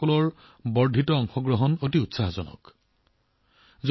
এই প্ৰচেষ্টাসমূহে ভাৰতত ড্ৰাগছৰ বিৰুদ্ধে অভিযানক যথেষ্ট শক্তি প্ৰদান কৰে